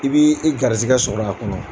I b'i i garizɛgɛ sɔrɔ a kɔnɔ.